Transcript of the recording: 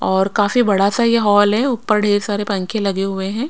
और काफी बड़ा सा ये हॉल है ऊपर ढेर सारे पंखे लगे हुए हैं।